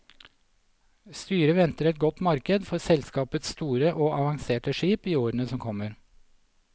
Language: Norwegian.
Styret venter et godt marked for selskapets store og avanserte skip i årene som kommer.